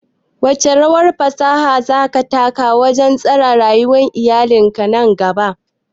Wace rawa fasaha za ta taka wajen tsara rayuwar iyali nan gaba?